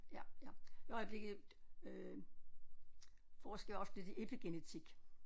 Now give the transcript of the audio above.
Ja ja i øjeblikket øh forsker jeg også lidt i epigenetik